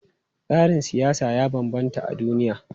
Tsarin siyasa ya bambanta a duniya.